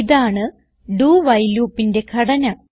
ഇതാണ് do while loopന്റെ ഘടന